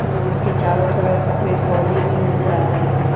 उसके चारों तरफ पेड़-पौधे भी नजर आ रहे हैं।